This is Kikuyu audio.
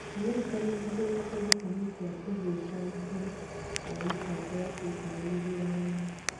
Amerika niihithuritie gitũmi kia ũthũkangia wa mitambo wa Putin githurano-ini.